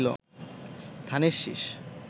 ধানের শীষ